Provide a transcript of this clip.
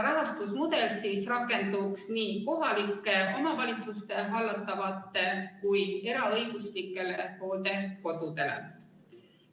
Rahastusmudel rakenduks nii kohalike omavalitsuste hallatavatele kui ka eraõiguslikele hooldekodudele.